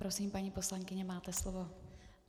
Prosím, paní poslankyně, máte slovo.